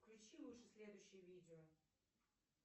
включи лучше следующее видео